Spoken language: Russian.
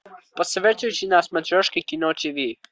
посоветуйте на смотрешке кино тиви